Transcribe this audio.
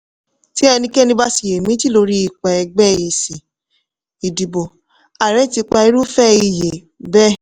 ti ẹnikẹ́ni bá ṣiyèméjì lórí ipa ẹgbẹ́ èsì ìdìbò ààrẹ ti pa irúfẹ́ iyè bẹ́ẹ̀.